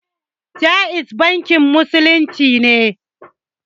Jaiz bankin musulunci ne